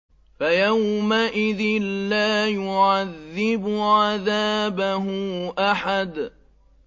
فَيَوْمَئِذٍ لَّا يُعَذِّبُ عَذَابَهُ أَحَدٌ